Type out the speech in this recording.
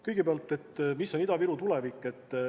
Kõigepealt, mis on Ida-Viru tulevik?